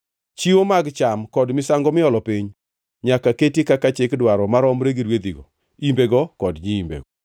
Chiwo mag cham kod misango miolo piny nyaka keti kaka chik dwaro maromre gi rwedhigo, imbego kod nyiimbego.